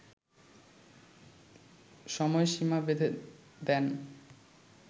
সময়সীমা বেঁধে দেন